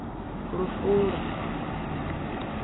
lufule